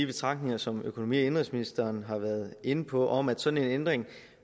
betragtninger som økonomi og indenrigsministeren har været inde på om at en sådan ændring